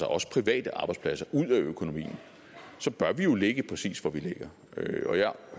også private arbejdspladser ud af økonomien så bør vi jo ligge præcis hvor vi ligger og jeg